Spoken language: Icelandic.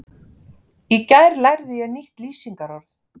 Í gær lærði ég nýtt lýsingarorð.